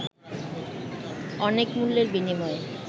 অনেক মূল্যের বিনিময়ে